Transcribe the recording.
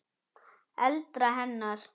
eldra hennar.